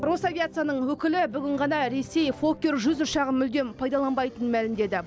росавиацияның өкілі бүгін ғана ресей фоккер жүз ұшағын мүлдем пайдаланбайтынын мәлімдеді